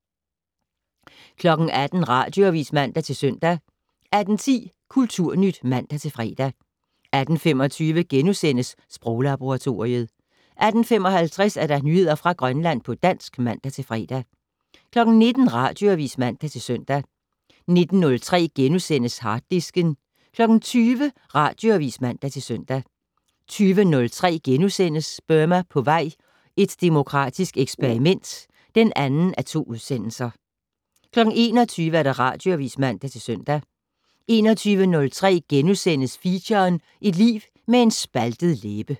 18:00: Radioavis (man-søn) 18:10: Kulturnyt (man-fre) 18:25: Sproglaboratoriet * 18:55: Nyheder fra Grønland på dansk (man-fre) 19:00: Radioavis (man-søn) 19:03: Harddisken * 20:00: Radioavis (man-søn) 20:03: Burma på vej - et demokratisk eksperiment (2:2)* 21:00: Radioavis (man-søn) 21:03: Feature: Et liv med en spaltet læbe *